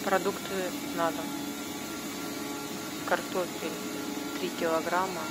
продукты на дом картофель три килограмма